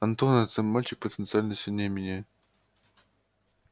антон это мальчик потенциально сильнее меня